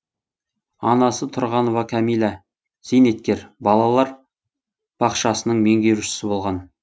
анасы тұрғанова кәмила зейнеткер балалар бақшасының меңгерушісі болған